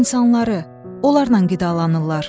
İnsanları, onlarla qidalanırlar.